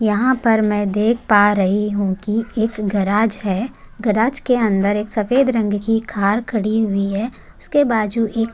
यहां पर मैं देख पा रही हूं कि एक गॅरेज है गॅरेज के अंदर एक सफेद रंग की कार खड़ी हुई है उसके बाजू एक--